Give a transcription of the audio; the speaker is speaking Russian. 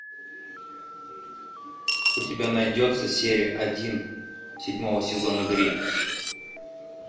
у тебя найдется серия один седьмого сезона гримм